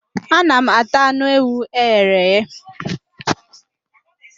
Ana m ata anụ ewu eghere eghe.